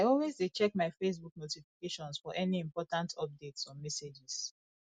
i always dey check my facebook notifications for any important updates or messages